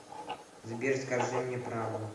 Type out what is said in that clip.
сбер скажи мне правду